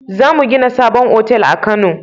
Zamu gina sabon otal a kano